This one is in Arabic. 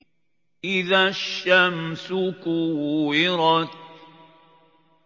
إِذَا الشَّمْسُ كُوِّرَتْ